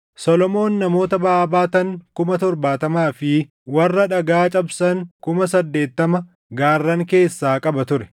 Solomoon namoota baʼaa baatan kuma torbaatamaa fi warra dhagaa cabsan kuma saddeettama gaarran keessaa qaba ture;